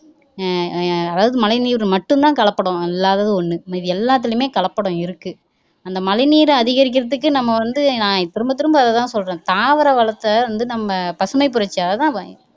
அஹ் அஹ் அதாவது மழை நீர்ல மட்டுந்தான் கலப்படம் இல்லாதது ஒண்ணு மீதி எல்லாத்துலயுமே கலப்படம் இருக்கு அந்த மழை நீரை அதிகரிக்கிறதுக்கு நம்ம வந்து நான் திரும்ப திரும்ப அதைதான் சொல்றேன் தாவர வளத்தை வந்து நம்ம பசுமைப்புரட்சி அதைதான்